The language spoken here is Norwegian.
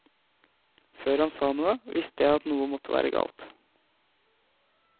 Før han sa noe, visste jeg at noe måtte være galt.